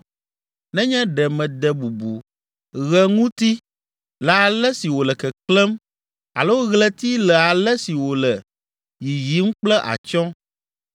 nenye ɖe mede bubu ɣe ŋuti le ale si wòle keklẽm alo ɣleti le ale si wòle yiyim kple atsyɔ̃,